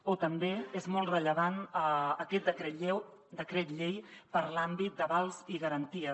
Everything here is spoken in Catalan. o també és molt rellevant aquest decret llei per a l’àmbit d’avals i garanties